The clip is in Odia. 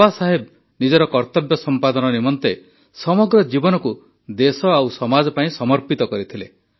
ବାବା ସାହେବ ନିଜର କର୍ତବ୍ୟ ସମ୍ପାଦନ ନିମନ୍ତେ ସମଗ୍ର ଜୀବନକୁ ଦେଶ ଓ ସମାଜ ପାଇଁ ସମର୍ପିତ କରିଥିଲେ